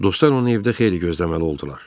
Dostlar onu evdə xeyli gözləməli oldular.